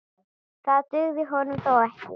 Það dugði honum þó ekki.